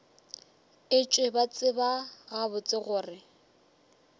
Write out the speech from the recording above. etšwe ba tseba gabotse gore